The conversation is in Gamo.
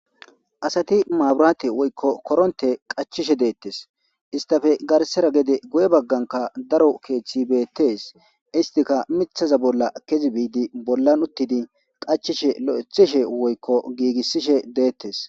Asati maabiraate woykko koronte qachishe deettes. Istappe garssara gede guye bagganka daro keeththi beettees. Istika mithaza bolla kiyi biidi bollan uttidi qachishe lo'ethishe woykko giigissishe deettes.